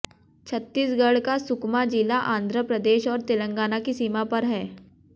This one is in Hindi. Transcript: छत्तीसगढ़ का सुकमा जिला आंध्र प्रदेश और तेलंगाना की सीमा पर है